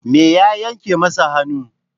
Me ya yanke masa hannu?